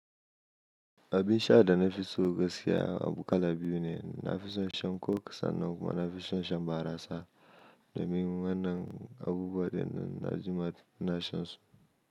Abin sha da na fi so gaskiya abu kala biyu ne. Na fi son shan coke sannan kuma na fi son shan barasa. Domin wannan abubuwa ne da na jima ina shan su.